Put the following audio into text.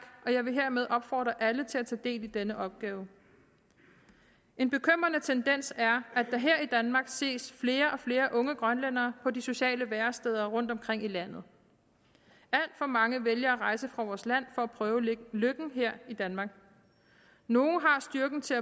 og jeg vil hermed opfordre alle til at tage del i denne opgave en bekymrende tendens er at der her i danmark ses flere og flere unge grønlændere på de sociale væresteder rundtomkring i landet alt for mange vælger at rejse fra vores land for at prøve lykken her i danmark nogle har styrken til